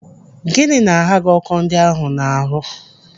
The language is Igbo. Gịnị na-agha gị ọkọ ndị ahụ n'ahụ?